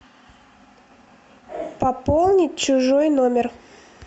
пополнить чужой номер